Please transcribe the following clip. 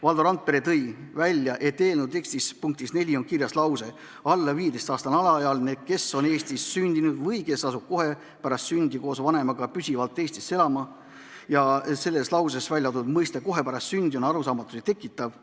Valdo Randpere tõi välja, et eelnõu tekstis punktis 4 on kirjas lause: "Alla 15-aastane alaealine, kes on Eestis sündinud või kes asub kohe pärast sündi koos vanemaga püsivalt Eestisse elama ...", milles kasutatud väljend "kohe pärast sündi" on arusaamatusi tekitav.